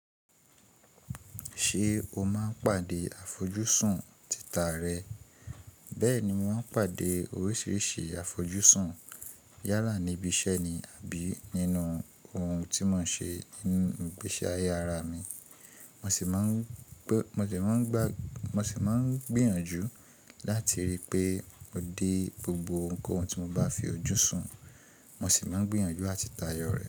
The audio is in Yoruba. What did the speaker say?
Ṣé o máa ń pàdé àfojúsùn tita rẹ? Bẹ́ẹ̀ni, mo máa ń pàdé oríṣiríṣi àfojúsùn yála níbi iṣẹ́ ni àbí nínú ohun tí mò ń ṣe, ní ìgbésí ayé ara mi. Mo sì máa ń gbìyànjú láti ríi pé mo dé gbogbo ohunkóhun tí mo bá fi ojú sun. Mo sì máa ń gbìyànjú àti tayọ rẹ̀